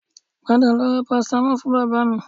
Padà lọ ra parasitamọ́ọ̀ fún bàbá mi